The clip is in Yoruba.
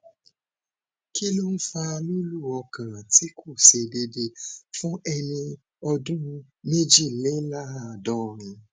kí ló ń fa lulu ọkàn ti ko se deede fun eni ọdún méjìléláàádọrin